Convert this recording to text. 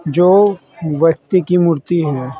जो व्यक्ति की मूर्ति है।